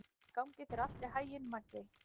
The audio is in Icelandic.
Gangi þér allt í haginn, Maggey.